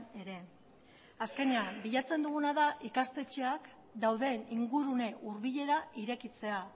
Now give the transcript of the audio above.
ere azkenean bilatzen duguna da ikastetxeak dauden ingurune hurbilera irekitzea